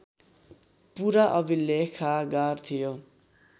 पुरा अभिलेखागार थियो